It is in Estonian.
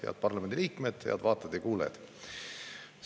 Head parlamendi liikmed, head vaatajad ja kuulajad!